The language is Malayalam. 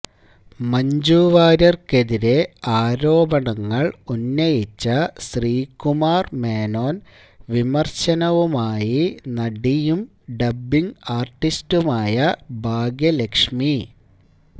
മഞ്ജുവാര്യര്ക്കെതിരേ ആരോപണങ്ങള് ഉന്നയിച്ച ശ്രീകുമാര് മേനോന് വിമര്ശനവുമായി നടിയും ഡബ്ബിങ്ങ് ആര്ട്ടിസ്റ്റുമായ ഭാഗ്യലക്ഷ്മി